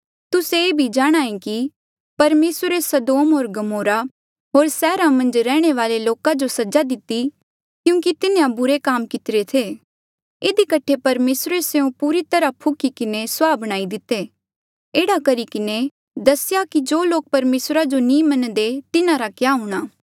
तुस्से ये भी जाणहां ऐें कि परमेसरे सदोम होर गमोरा होर सैहरा मन्झ रैहणे वाले लोका जो सजा दिती क्यूंकि तिन्हें बुरे काम कितिरे थे इधी कठे परमेसरे स्यों पूरी तरहा फुखी किन्हें सुआहा बणाई दिते एह्ड़ा करी किन्हें दसेया कि जो लोक परमेसरा जो नी मन्नदे तिन्हारा क्या हूंणा